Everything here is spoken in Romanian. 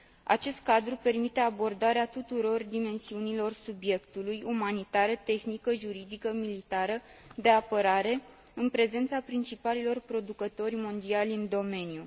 Acest cadru permite abordarea tuturor dimensiunilor subiectului, umanitară, tehnică, juridică, militară, de apărare, în prezența principalilor producători mondiali în domeniu.